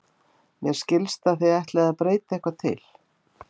Mér skilst að þið ætlið að breyta eitthvað til?